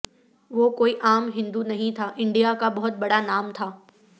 وہ کوئی عام ہندو نہیں تھا انڈیا کا بہت بڑا نام تھا